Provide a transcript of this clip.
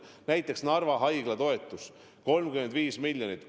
Näiteks Narva Haigla toetus on 35 miljonit.